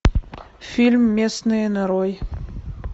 фильм местные нарой